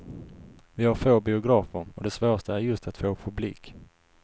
Vi har få biografer och det svåraste är just att få publik.